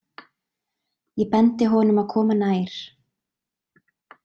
Ég bendi honum að koma nær.